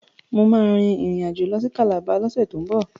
Mo ma rìn rìn àjò lọ sí Canada lọ́sẹ̀ tó ń bọ̀